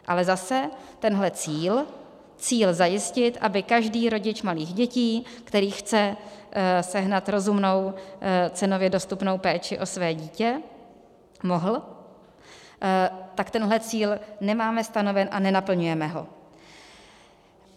Ale zase, tenhle cíl, cíl zajistit, aby každý rodič malých dětí, který chce sehnat rozumnou, cenově dostupnou péči o své dítě, mohl, tak tenhle cíl nemáme stanoven a nenaplňujeme ho.